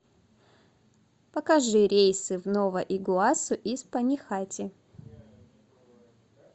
покажи рейсы в нова игуасу из панихати